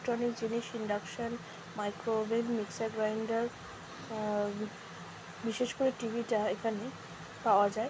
Electronic জিনিস induction micro oven mixer গ্রিনদের আ আ আ বিশেষ করে টি.ভি. টা এখানে পাওয়া যায় ।